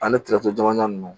Ani jama nunnu